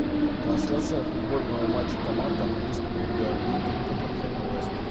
трансляция футбольного матча команд английской премьер лиги тоттенхэм и лестер